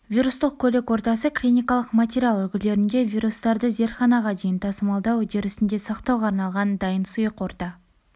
вирустық көлік ортасы клиникалық материал үлгілерінде вирустарды зертханаға дейін тасымалдау үдерісінде сақтауға арналған дайын сұйық орта